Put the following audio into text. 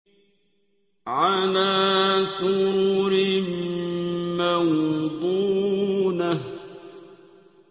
عَلَىٰ سُرُرٍ مَّوْضُونَةٍ